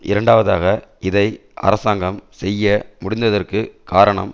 இரண்டாவதாக இதை அரசாங்கம் செய்ய முடிந்ததற்கு காரணம்